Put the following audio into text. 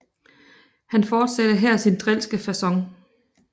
Han fortsatte her sin drilske facon